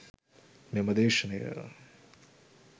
මෙම දේශනය